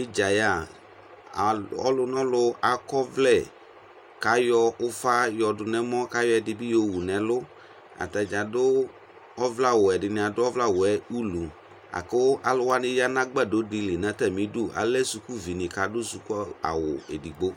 idza yɛ ɔlunɛlu akɔ ɔvlɛ kayɔ ʊfa yɔdu nɛmɔ kayɔ edini yowu nu ɛlu ɔmɔ kayɔ dʊku yowu nu ɛlu ataniadu ovlɛ awu wuɛ aku alu wani yanu agbadɔ dili alɛ sukʊvi adu sukʊawu edigbo